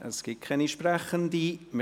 Es gibt keine Sprechenden.